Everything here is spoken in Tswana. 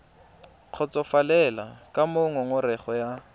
kgotsofalele ka moo ngongorego ya